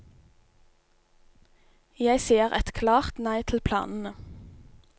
Jeg sier et klart nei til planene.